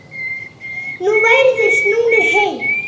Nú væru þeir snúnir heim.